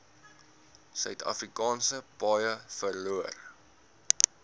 suidafrikaanse paaie verloor